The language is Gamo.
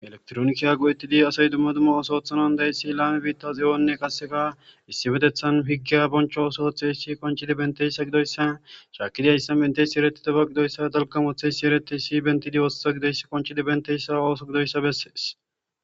elektrooniki a gu7ettidi asay dumma dumma osoothanan deyssi laame biitta xeyonne kaseka issi metethan higgiya boncho oso otheeshi konchidi benteyssa gidoyssa shaakidi ayssan benteysi eretidoba gidoyssa dalkamotheysi ereteysi bentidi oososa gidoyss konchidi benteyssa ooso gidoyssa bessees